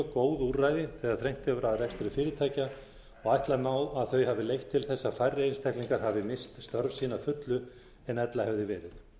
góð úrræði þegar þrengt hefur að rekstri fyrirtækja og ætla má að þau hafi leitt til þess að færri einstaklingar hafi misst störf sín að fullu en ella hefði verið